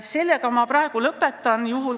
Sellega ma praegu lõpetan.